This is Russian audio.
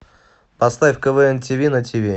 поставь квн ти ви на ти ви